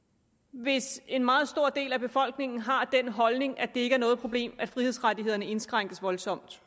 hvis en meget stor del af befolkningen har den holdning at det ikke er noget problem at frihedsrettighederne indskrænkes voldsomt